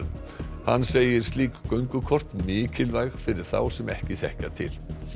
hann segir slík göngukort mikilvæg fyrir þá sem ekki þekkja til